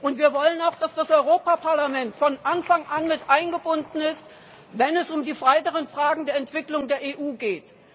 Und wir wollen auch, dass das Europäische Parlament von Anfang an mit eingebunden ist, wenn es um die weiteren Fragen der Entwicklung der EU geht.